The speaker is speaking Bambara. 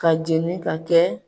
Ka jeni ka kɛ.